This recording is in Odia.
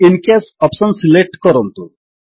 ଆଇଏନ କ୍ୟାଶ ଅପ୍ସନ୍ ସିଲେକ୍ଟ କରନ୍ତୁ